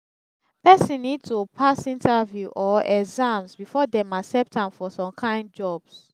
persin need to pass interview or exams before dem accept am for some kind jobs